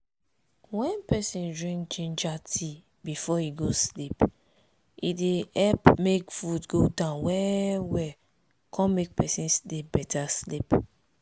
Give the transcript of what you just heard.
wen peson drink ginger tea before e go sleep e dey help make food go down well well come make person sleep beta sleep.